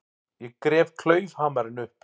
Ég gref klaufhamarinn upp.